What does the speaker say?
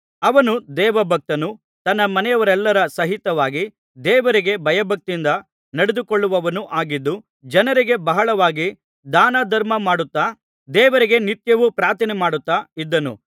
ಅವನು ದೈವಭಕ್ತನೂ ತನ್ನ ಮನೆಯವರೆಲ್ಲರ ಸಹಿತವಾಗಿ ದೇವರಿಗೆ ಭಯಭಕ್ತಿಯಿಂದ ನಡೆದುಕೊಳ್ಳುವವನು ಆಗಿದ್ದು ಜನರಿಗೆ ಬಹಳವಾಗಿ ದಾನಧರ್ಮಮಾಡುತ್ತಾ ದೇವರಿಗೆ ನಿತ್ಯವೂ ಪ್ರಾರ್ಥನೆಮಾಡುತ್ತಾ ಇದ್ದನು